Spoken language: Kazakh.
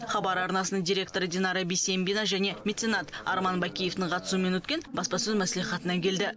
хабар арнасының директоры динара бисембина және меценат арман бакеевтің қатысуымен өткен баспасөз мәслихатына келді